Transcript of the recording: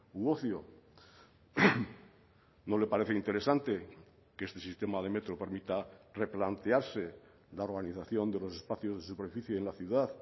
u ocio no le parece interesante que este sistema de metro permita replantearse la organización de los espacios de superficie en la ciudad